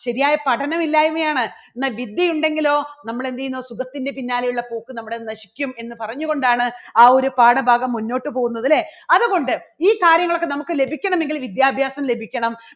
ശരിയായ പഠനം ഇല്ലായ്മയാണ് എന്നാൽ വിദ്യ ഉണ്ടെങ്കിലോ നമ്മൾ എന്ത് ചെയ്യുന്നു സുഖത്തിന്റെ പിന്നാലെയുള്ള പോക്ക് നമ്മുടെ നശിക്കും എന്ന് പറഞ്ഞു കൊണ്ടാണ് ആ ഒരു പാഠഭാഗം മുന്നോട്ട് പോകുന്നത് അല്ലേ. അതുകൊണ്ട് ഈ കാര്യങ്ങളൊക്കെ നമുക്ക് ലഭിക്കണമെങ്കിൽ വിദ്യാഭ്യാസം ലഭിക്കണം.